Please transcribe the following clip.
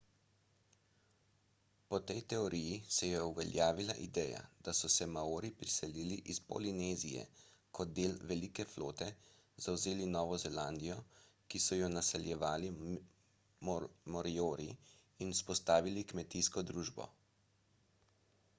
po tej teoriji se je uveljavila ideja da so se maori priselili iz polinezije kot del velike flote zavzeli novo zelandijo ki so jo naseljevali moriori in vzpostavili kmetijsko družbo